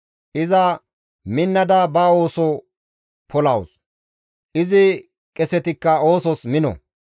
Iza minnada ba ooso polawus; izi qesetikka oosos mino.